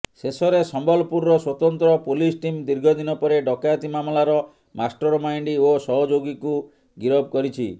ଶେଷରେ ସମ୍ବଲପୁରର ସ୍ୱତନ୍ତ୍ର ପୋଲିସ ଟିମ୍ ଦୀର୍ଘଦିନ ପରେ ଡକାୟତି ମାମଲାର ମାଷ୍ଟରମାଇଣ୍ଡ ଓ ସହଯୋଗୀଙ୍କୁ ଗିରଫ କରିଛି